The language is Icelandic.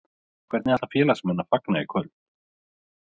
Hvernig ætla félagsmenn að fagna í kvöld?